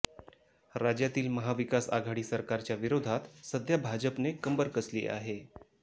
राज्यातील महाविकासआघाडी सरकारच्या विरोधात सध्या भाजपने कंबर कसली आहे